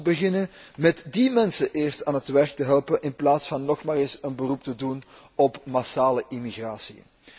Laat ons beginnen met die mensen eerst aan het werk te helpen, in plaats van weer een beroep te doen op massale immigratie.